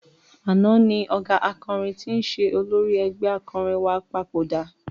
Àná ni ọ̀gá akọrin tí ń ṣe olórí ẹgbẹ́ akọrin wa papòdà.